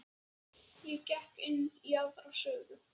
Ég gekk inn í aðra sögu.